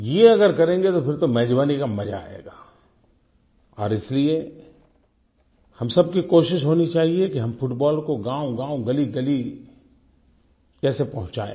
ये अगर करेंगे तो फिर तो मेज़बानी का मज़ा आएगा और इसीलिए हम सब की कोशिश होनी चाहिये कि हम फुटबॉल को गाँवगाँव गलीगली कैसे पहुँचाएं